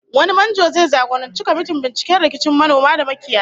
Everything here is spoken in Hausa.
Wani manjo zai jagoranci kwamitin binciken rikicin manoma da makiyaya